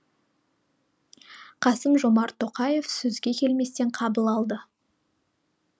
қасым жомарт тоқаев сөзге келместен қабыл алды